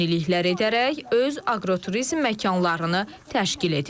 Yeniliklər edərək öz aqroturizm məkanlarını təşkil edirlər.